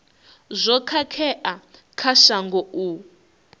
zwo khakhea kha shango u